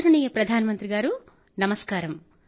ఆదరణీయ ప్రధానమంత్రి గారూ నమస్కారం